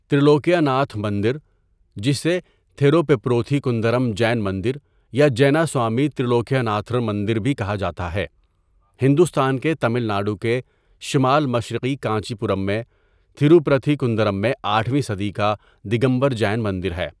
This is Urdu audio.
تریلوکیہ ناتھ مندر، جسے تھیروپپروتھی کندرم جین مندر یا جیناسوامی ترلوکیہ ناتھر مندر بھی کہا جاتا ہے، ہندوستان کے تمل ناڈو کے شمال مشرقی کانچی پورم میں، تھروپرتھی کندرم میں آٹھویں صدی کا دگمبر جین مندر ہے۔